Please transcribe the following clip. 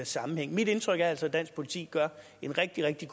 sammenhæng mit indtryk er altså at dansk politi gør en rigtig rigtig